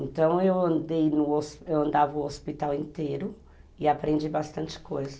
Então eu andava o hospital inteiro e aprendi bastante coisa.